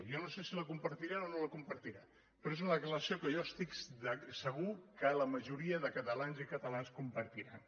jo no sé si la compartirà o no la compartirà però és una declaració que jo estic segur que la majoria de catalans i catalanes compartiran